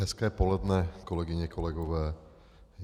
Hezké poledne, kolegyně, kolegové.